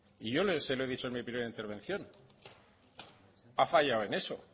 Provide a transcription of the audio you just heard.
y yo se lo he dicho en mi primera intervención ha fallado en eso